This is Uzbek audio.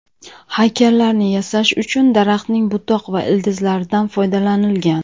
Haykallarni yasash uchun daraxtning butoq va ildizlaridan foydalanilgan.